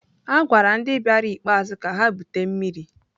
A gwara ndị bịara ikpeazụ ka ha bute mmiri.